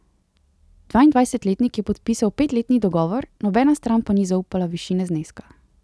Dvaindvajsetletnik je podpisal petletni dogovor, nobena stran pa ni zaupala višine zneska.